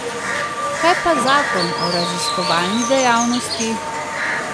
Kaj pa zakon o raziskovalni dejavnosti?